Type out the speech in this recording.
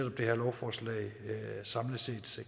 at det her lovforslag samlet set